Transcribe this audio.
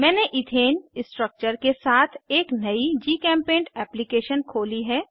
मैंने ethane structure के साथ एक नयी जीचेम्पेंट एप्लीकेशन खोली है